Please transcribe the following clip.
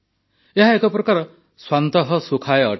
ଏହା ଏକ ପ୍ରକାର ସ୍ୱାନ୍ତଃ ସୁଖାୟ ଅଟେ